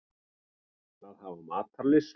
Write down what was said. Að hafa matarlyst.